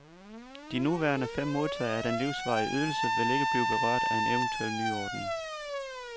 De nuværende fem modtagere af den livsvarige ydelse vil ikke blive berørt af en eventuel nyordning.